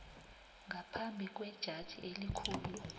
ngaphambi kwejaji elikhulu